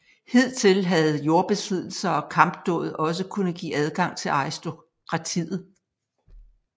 Hidtil havde jordbesiddelser og kampdåd også kunnet give adgang til aristokratiet